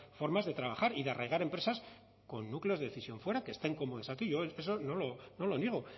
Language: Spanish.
formas de trabajar y de arraigar empresas con núcleos de decisión fuera que están aquí yo eso no lo niego